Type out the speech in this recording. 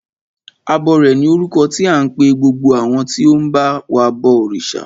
Abọrẹ̀ ni orúkọ tí à ń pe gbogbo àwọn tí ó ń ba wa bọ òrìṣà.